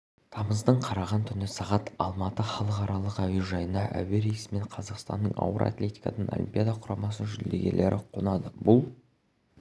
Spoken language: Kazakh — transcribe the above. тамыздың қараған түні сағат алматы халықаралық әуежайына әуерейсімен қазақстанның ауыр атлетикадан олимпиада құрамасының жүлдегерлері қонады бұл